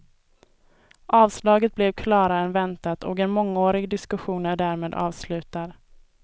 Avslaget blev klarare än väntat och en mångårig diskussion är därmed avslutad.